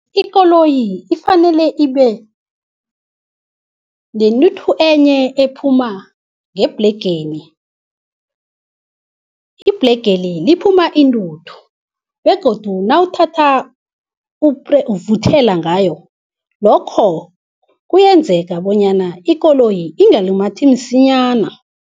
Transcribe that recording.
Ikoloyi ifanele ibe nentuthu enye ephuma ngebhlengeni. Ibhlegeli liphuma intuthu begodu nawuthatha uvuthela ngayo, lokho kuyenzeka bonyana ikoloyi ingalumathi msinyana.